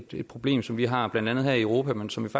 det problem som vi har blandt andet her i europa men som man